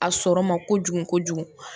A sɔrɔ ma kojugu kojugu